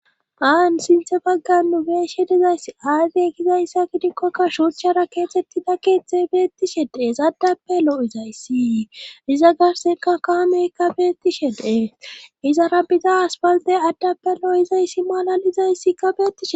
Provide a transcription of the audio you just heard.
Aan sinthe bagganu bees she dizayss aazey kizayssa kidikkoka shuucchara keexettida keeththe beetti shedees addappe loo7izayssi iza garsenka kaameyka beetti she deee izara biza asbaldey addappe loo7izayssi malalizayssika betishe